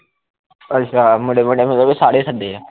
ਅੱਛਾ ਮੁੰਡੇ ਮੁੰਡੇ ਮਤਲਬ ਸਾਰੇ ਸੱਦੇ ਆ